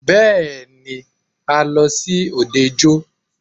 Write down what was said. Bẹ́ẹ̀ni,a lọ sí òde ijó.